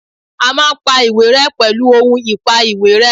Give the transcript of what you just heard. A máa pa ìwé ré pèlú ohun ìpa ìwé ré